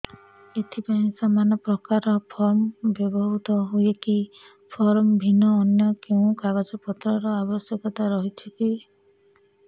ଏଥିପାଇଁ ସମାନପ୍ରକାର ଫର୍ମ ବ୍ୟବହୃତ ହୂଏକି ଫର୍ମ ଭିନ୍ନ ଅନ୍ୟ କେଉଁ କାଗଜପତ୍ରର ଆବଶ୍ୟକତା ରହିଛିକି